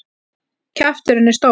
Kjafturinn er stór.